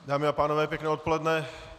Dámy a pánové, pěkné odpoledne.